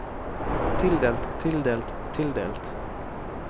tildelt tildelt tildelt